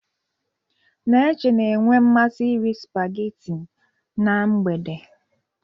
Neche na-enwe mmasị iri sipageti na mgbede.